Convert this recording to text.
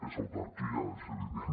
és autarquia és evident